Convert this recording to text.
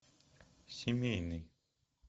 семейный